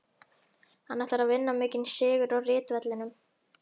Hann ætlar að vinna mikinn sigur á ritvellinum.